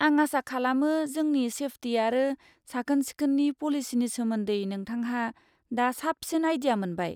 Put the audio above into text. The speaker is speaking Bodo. आं आसा खालामो जोंनि सेफटि आरो साखोन सिखोननि पलिसिनि सोमोन्दै नोंथांहा दा साबसिन आइडिया मोनबाय।